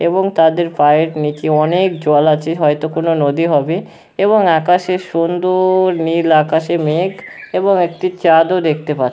এবং তাদের পায়ের নিচে অনেক জল আছে হয়তো কোনো নদী হবে এবং আকাশে সুন্দর নীল আকাশে মেঘ এবং একটি চাঁদও দেখতে পা-- ।